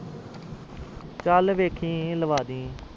ਚਾਲ ਵੇਖੀ ਲਾਵਾਂ ਦੀ